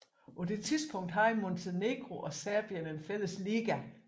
På det tidspunkt havde Montenegro og Serbien en fælles liga